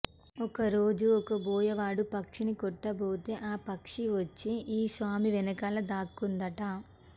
ఒక రోజు ఒక బోయవాడు పక్షిని కొట్టబోతే ఆ పక్షి వచ్చి ఈ స్వామి వెనకాల దాక్కుందట